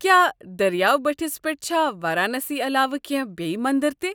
کیٛاہ دٔریاو بٔٹھس پٮ۪ٹھ چھا وارانسی علاوٕ کینہہ بییہِ مندر تہِ ؟